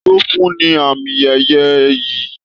Taló fún ní àmì ẹyẹ ìyí?